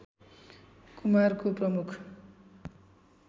कुमारको प्रमुख